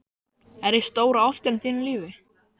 Er ég stóra ástin í þínu lífi?